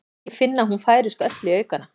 Ég finn að hún færist öll í aukana.